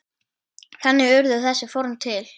Þannig urðu þessi form til.